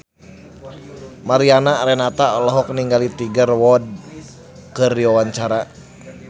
Mariana Renata olohok ningali Tiger Wood keur diwawancara